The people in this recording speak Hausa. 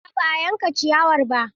A'a ba a yanka ciyawar ba.